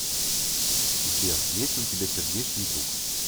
сбер есть ли у тебя сердечный друг